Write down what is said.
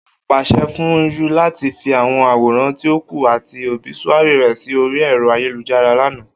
O paṣẹ fun u lati fi awọn aworan ti o ku ati obisuary rẹ si ori ero ayelujara lana!